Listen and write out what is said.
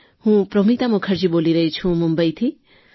હું પ્રોમિતા મુખર્જી બોલી રહી છું મુંબઈથી